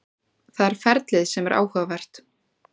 Það er ferlið sem er áhugavert.